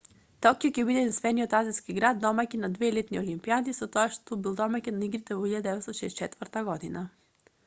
токио ќе биде единствениот азиски град домаќин на две летни олимпијади со тоа што бил домаќин на игрите во 1964 г